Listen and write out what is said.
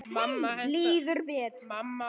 Líður betur.